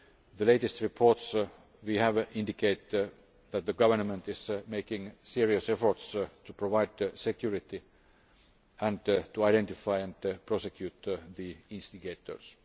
The latest reports we have indicate that the government is making serious efforts to provide security and to identify and prosecute the instigators.